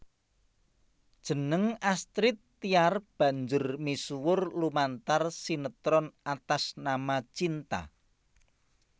Jeneng Astrid Tiar banjur misuwur lumantar sinetron Atas Nama Cinta